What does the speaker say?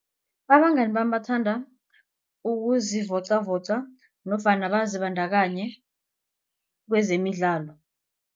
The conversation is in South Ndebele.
Abangani bami bathanda ukuzivocavoca nofana bazibandakanye kwezemidlalo.